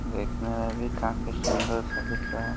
देखने में भी काफी सुंदर सा दिख रहा --